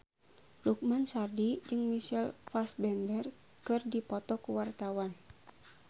Lukman Sardi jeung Michael Fassbender keur dipoto ku wartawan